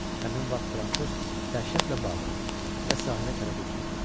Həmin vaxt Fransoz dəhşətlə bağırır və sahilə tərəf üzür.